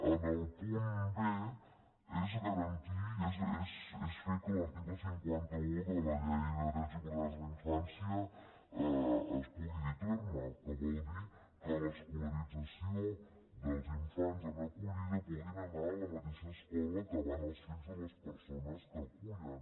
en el punt b és garantir és fer que l’article cinquanta un de la llei de drets i oportunitats de la infància es pugui dur a terme que vol dir que en l’escolarització dels infants en acollida puguin anar a la mateixa escola que van els fills de les persones que acullen